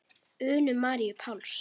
Unu Maríu Páls.